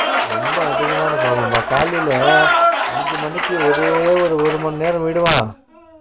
ரொம்ப அதிகமான problem பா காலைல அஞ்சுமணிக்கு ஓரே ஓரு ஒருமணி நேரோ விடுவான்